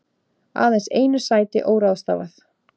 Aðeins einu sæti óráðstafað